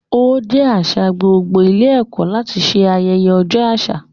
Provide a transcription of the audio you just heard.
Ó jẹ́ àṣà gbogbo ilé ẹ̀kọ́ láti ṣe ayẹyẹ ọjọ́ àṣà.